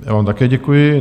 Já Vám také děkuji.